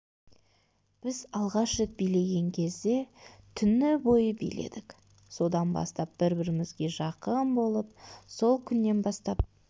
біз алғаш рет билеген кезде түні бойы биледік содан бастап бір-бірімізге жақын болып сол күннен бастап